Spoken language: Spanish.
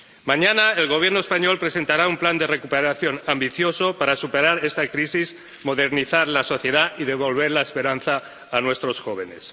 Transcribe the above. Mañana, el Gobierno español presentará un plan de recuperación ambicioso para superar esta crisis, modernizar la sociedad y devolver la esperanza a nuestros jóvenes